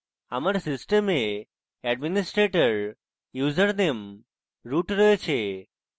আমার system administrator username root রয়েছে